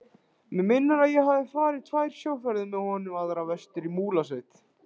Mig minnir að ég hafi farið tvær sjóferðir með honum, aðra vestur í Múlasveit.